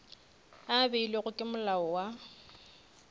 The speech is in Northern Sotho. a beilwego ke molao wa